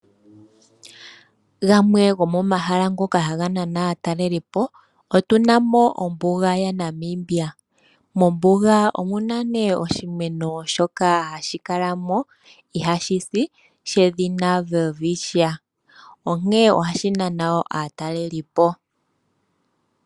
Gamwe gomomahala haga nana aatalelipo otuna mo ombuga ya Namibia. Mombuga omuna oshimeno shoka hashi kala mo ihaashi si shedhina Welwitchia. Ohashi nana woo aataleli po